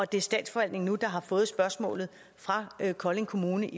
det er statsforvaltningen der nu har fået spørgsmålet fra kolding kommune